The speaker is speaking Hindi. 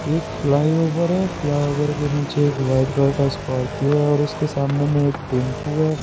एक फ्लाईओवर है फ्लाईओवर के नीचे एक वाइट कलर का स्कॉर्पियो है और उसके सामने में एक टेंपू है।